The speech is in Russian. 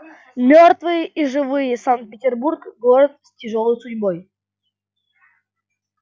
мёртвые и живые санкт-петербург город с тяжёлой судьбой